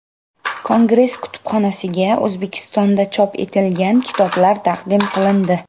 Kongress kutubxonasiga O‘zbekistonda chop etilgan kitoblar taqdim qilindi.